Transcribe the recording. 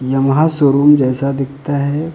Yamaha showroom जैसा दिखता है।